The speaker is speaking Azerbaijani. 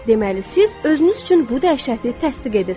Deməli siz özünüz üçün bu dəhşəti təsdiq edirsiniz.